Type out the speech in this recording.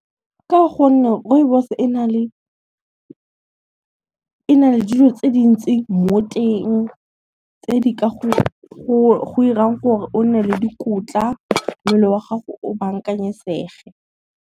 Ka gonne rooibos e na le dilo tse dintsi mo teng tse di ka go irang gore o nne le dikotla, mmele wa gago o bankanyetsege.